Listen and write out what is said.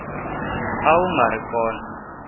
a wu nga ri kona